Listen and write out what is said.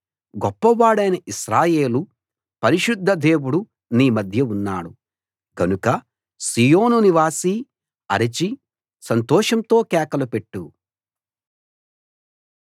గొప్పవాడైన ఇశ్రాయేలు పరిశుద్ధ దేవుడు నీ మధ్య ఉన్నాడు గనుక సీయోను నివాసీ అరిచి సంతోషంతో కేకలు పెట్టు